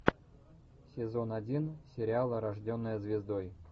сезон один сериала рожденная звездой